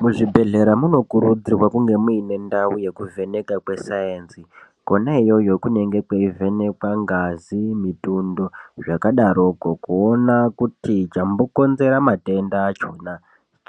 Muzvibhedhlera munokurudzirwa kunge muine ndau yekuvheneka kwesaenzi, kona iyoyo kunenge kweivhenekwa ngazi, mitundo zvakadaroko, kuona kuti chambokonzera matenda achona